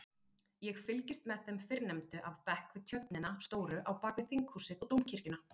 Ég fylgist með þeim fyrrnefndu af bekk við tjörnina stóru á bakvið Þinghúsið og Dómkirkjuna.